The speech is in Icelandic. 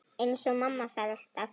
Eins og mamma sagði alltaf.